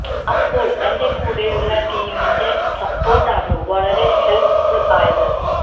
അപ്പോൾ എന്റെ കൂടെയുള്ള ടീമിന്റെ സപ്പോർട്ട് ആണ് വളരെ ഹെൽപ് ഫുൾ ആയത്